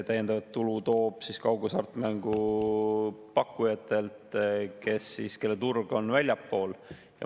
Täiendavat tulu tuleb kaughasartmängupakkujatelt, kelle turg on väljaspool.